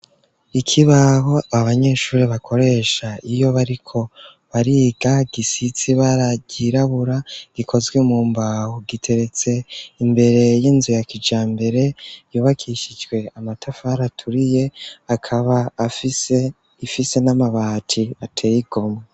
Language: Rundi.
Ikibaho abanyeshuri bakoresha iyo bariko bariga gisize ibara ryirabura. Gikozwe mu mbaho giteretse imbere y'inzu ya kijambere yubakishijwe amatafara aturiye akaba sifise n'amabati ateye igomwe.